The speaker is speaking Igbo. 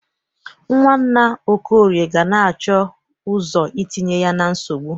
Nwanna Okorie ga na-achọ ọzọ itinye ya na nsogbụ.